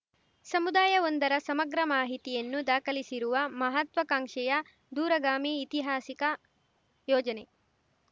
ಸಮುದಾಯವೊಂದರ ಸಮಗ್ರ ಮಾಹಿತಿಯನ್ನು ದಾಖಲಿಸಿರುವ ಮಹಾತ್ವಾಕಾಂಕ್ಷೆಯ ದೂರಗಾಮಿ ಇತಿಹಾಸಿಕ ಯೋಜನೆ